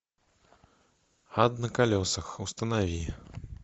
ад на колесах установи